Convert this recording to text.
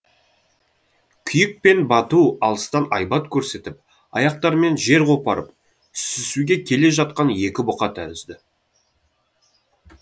күйік пен бату алыстан айбат көрсетіп аяқтарымен жер қопарып сүзісуге келе жатқан екі бұқа тәрізді